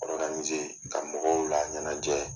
ka mɔgɔw laɲɛnajɛ.